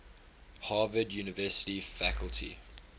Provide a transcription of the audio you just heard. harvard university faculty